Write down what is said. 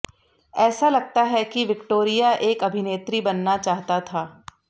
ऐसा लगता है कि विक्टोरिया एक अभिनेत्री बनना चाहता था